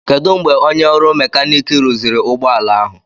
Kedụ mgbe onye ọrụ Mekaniki rụziri ụgbọ ala ahụ